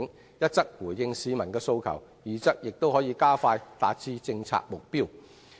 這既可回應市民的訴求，亦有助加快達成政策目標。